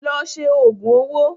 Lọ ṣe òògùn owó!